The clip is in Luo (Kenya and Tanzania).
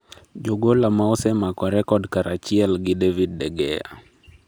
Jogola maosemako rekod karachiel gi David de Gea